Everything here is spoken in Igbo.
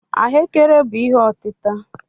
Ahụekere bụ ihe otita.